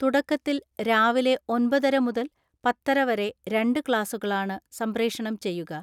തുടക്കത്തിൽ രാവിലെ ഒമ്പതര മുതൽ പത്തര വരെ രണ്ട് ക്ലാസുകളാണ് സംപ്രേഷണം ചെയ്യുക.